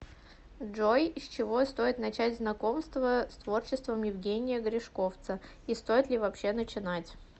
джой с чего стоит начать знакомство с творчеством евгения гришковцаи стоит ли вообще начинать